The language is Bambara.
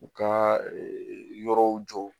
U ka yɔrɔw jɔ